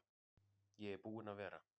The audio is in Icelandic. Ég er búinn að vera.